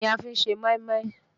Ẹ̀wà ni a fi ń ṣe mọ́ínmọ́ín.